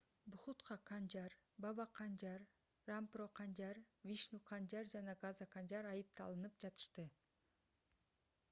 бхутха канжар баба канжар рампро канжар вишну канжар жана газа канжар айыпталынып жатышты